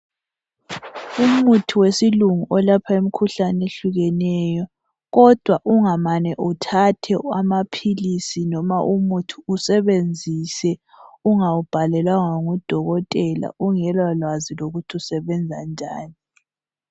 Umuthi wesilungu olapha umkhuhlane ohlukeneyo kodwa ungamane uthathe amaphilisi noma umuthi usebenzise ungawu bhalelanga ngudokotela ungela lwazi lokuthi usebenza njani.